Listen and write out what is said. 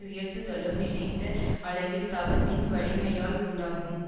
உயர்த்துதலும் நினைத்த அளவில் தவத்தின் வலிமையால் உண்டாகும்